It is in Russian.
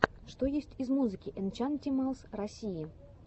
что есть из музыки энчантималс россии